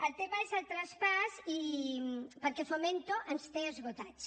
el tema és el traspàs perquè fomento ens té esgotats